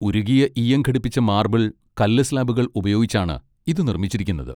ഉരുകിയ ഈയം ഘടിപ്പിച്ച മാർബിൾ, കല്ല് സ്ലാബുകൾ ഉപയോഗിച്ചാണ് ഇത് നിർമ്മിച്ചിരിക്കുന്നത്.